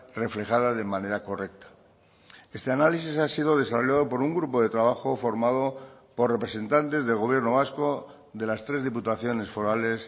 reflejada de manera correcta este análisis ha sido desarrollado por un grupo de trabajo formado por representantes del gobierno vasco de las tres diputaciones forales